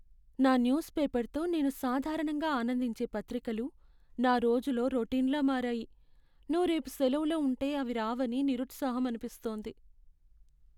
నా న్యూస్ పేపర్తో నేను సాధారణంగా ఆనందించే పత్రికలు నా రోజులో రొటీన్లా మారాయి. నువ్వు రేపు సెలవులో ఉంటే అవి రావని నిరుత్సాహం అనిపిస్తోంది.